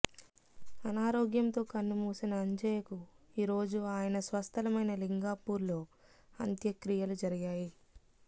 అనారోగ్యంతో కన్నుమూసిన అంజయ్యకు ఈరోజు ఆయన స్వస్థలమైన లింగాపూర్లో అంత్యక్రియలు జరిగాయి